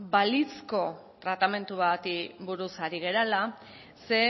ba balizko tratamendu bati buruz ari garela ze